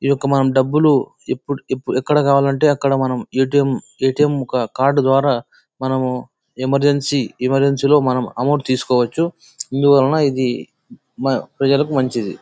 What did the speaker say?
ఈ యొక్క మనం డబ్బులు ఎప్పడు అక్కడ కావాలంటే అక్కడ మనం ఆ_ట్_ఎం ఆ_ట్_ఎం కార్డు ద్వారా మనము ఎమెర్జెన్సీ ఎమెర్జెన్సీ లో మనం అమౌంట్ తీసుకోవచ్చు.ఇందువలన ఇది ప్రజలకి మంచిది.